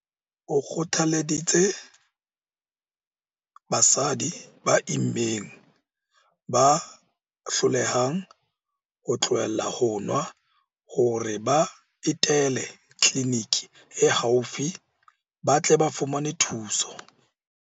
O kgothaleditse basadi ba immeng ba hlolehang ho tlohela ho nwa hore ba etele tliliniki e haufi ba tle ba fumane thuso.